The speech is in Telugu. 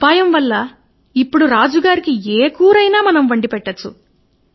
మీ ఉపాయం కారణంగా ఇపుడు ఏ కూరనైనా రాజుగారికి తినిపించగలం అని